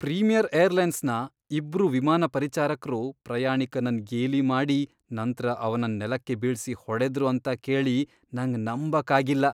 Premier ಏರ್ಲೈನ್ಸ್ನ ಇಬ್ರು ವಿಮಾನ ಪರಿಚಾರಕ್ರು ಪ್ರಯಾಣಿಕನನ್ ಗೇಲಿ ಮಾಡಿ ನಂತ್ರ ಅವನನ್ ನೆಲಕ್ಕೆ ಬೀಳ್ಸಿ ಹೊಡೆದ್ರು ಅಂತ ಕೇಳಿ ನಂಗ್ ನಂಬಕ್ ಆಗಿಲ್ಲ.